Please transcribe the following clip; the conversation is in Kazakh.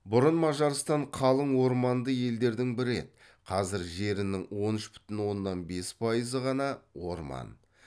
бұрын мажарстан қалың орманды елдердің бірі еді қазір жерінің он үш бүтін оннан бес пайызы ғана орман